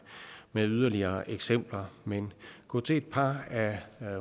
med yderligere eksempler men gå til et par af